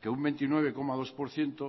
que un veintinueve coma dos por ciento